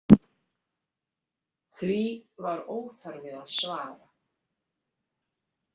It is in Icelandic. Því var óþarfi að svara.